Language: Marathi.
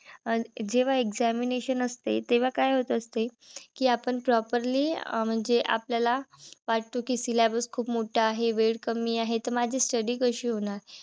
अं जेव्हा examination असते. तेंव्हा काय होत असते? कि आपण properly अं म्हणजे आपल्याला वाटतो कि syllabus खूप मोठा आहे. वेळ कमी आहे. तर माझी study कशी होणार?